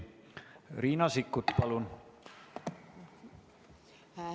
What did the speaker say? Riina Sikkut, palun!